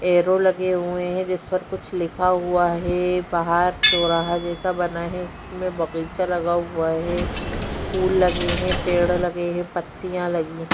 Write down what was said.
एरो लगे हुए हैं जिस पर कुछ लिखा हुआ है। बाहर चौराहा जैसा बना है उसमें बगइचा लगा हुआ है फूल लगे है पेड़ लगे है पत्तियाँ लगी है।